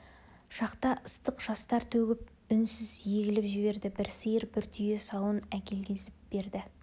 шақта ыстық жастар төгіп үнсіз егіліп жіберді бір сиыр бір түйе сауын әкелгізіп берді